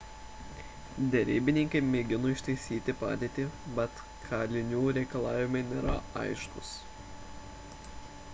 derybininkai mėgino ištaisyti padėtį bet kalinių reikalavimai nėra aiškūs